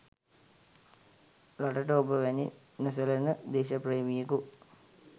රටට ඔබ වැනි නොසැලෙන දේශප්‍රේමියෙකු